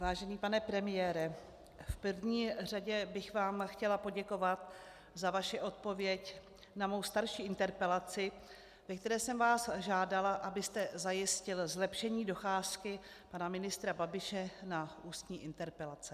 Vážený pane premiére, v první řadě bych vám chtěla poděkovat za vaši odpověď na mou starší interpelaci, ve které jsem vás žádala, abyste zajistil zlepšení docházky pana ministra Babiše na ústní interpelace.